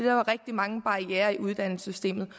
var rigtig mange barrierer i uddannelsessystemet